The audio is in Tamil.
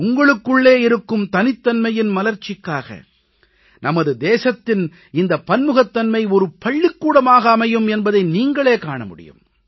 உங்களுக்குள்ளே இருக்கும் தனித்தன்மையின் மலர்ச்சிக்காக நமது தேசத்தின் இந்தப் பன்முகத்தன்மை ஓர் பள்ளிக்கூடமாக அமையும் என்பதை நீங்களே காண முடியும்